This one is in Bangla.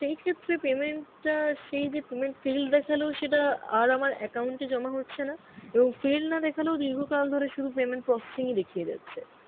সেই ক্ষেত্রে payment টা সেই যে payment failed দেখালো সেটা আর আমার account এ জমা হচ্ছে না, এবং failed না দেখালেও দীর্ঘকাল ধরে সুধু payment processing ই দেখিয়ে যাচ্ছে